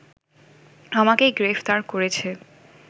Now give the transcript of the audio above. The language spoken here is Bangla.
আমাকে গ্রেফতার করেছে